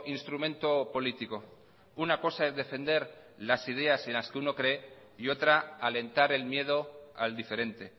instrumento político una cosa es defender las ideas en las que uno cree y otra alentar el miedo al diferente